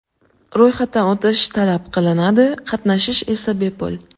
Ro‘yxatdan o‘tish talab qilinadi, qatnashish esa bepul.